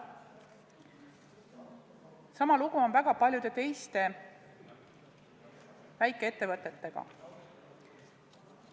Sama lugu on väga paljude teiste väikeettevõtetega.